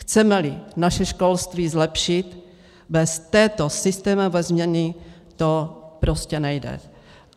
Chceme-li naše školství zlepšit, bez této systémové změny to prostě nejde.